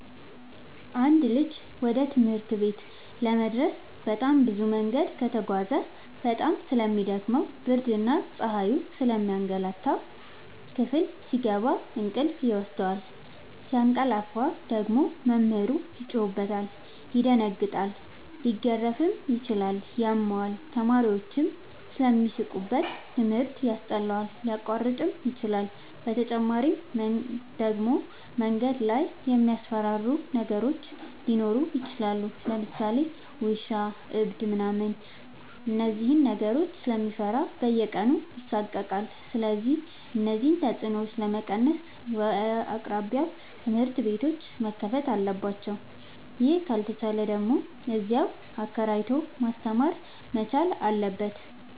አንድ ልጅ ወደ ትምህርት ቤት ለመድረስ በጣም ብዙ መንገድ ከተጓዘ በጣም ስለሚ ደክመው ብርድና ፀሀዩ ስለሚያገላታው። ክፍል ሲገባ እንቅልፍ ይወስደዋል። ሲያቀላፍ ደግሞ መምህሩ ይጮህበታል ይደነግጣል ሊገረፍም ይችላል ያመዋል፣ ተማሪዎችም ስለሚሳለቁበት ትምህርት ያስጠላዋል፣ ሊያቋርጥም ይችላል። በተጨማሪ ደግሞ መንገድ ላይ የሚያስፈራሩ ነገሮች ሊኖሩ ይችላሉ ለምሳሌ ውሻ እብድ ምናምን እነዚህን ነገሮች ስለሚፈራ በየቀኑ ይሳቀቃል። ስለዚህ እነዚህን ተፅኖዎች ለመቀነስ በየአቅራቢያው ትምህርት ቤቶዎች መከፈት አለባቸው ይህ ካልተቻለ ደግሞ እዚያው አከራይቶ ማስተማር መቻል አለበት።